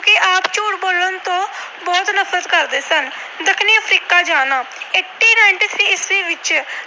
ਨਫਰਤ ਕਰਦੇ ਸਨ। ਦੱਖਣੀ Africa ਜਾਣਾ - ਅਠਾਰਾਂ ਸੌ ਤਰਾਨਵੇਂ ਈਸਵੀ ਵਿੱਚ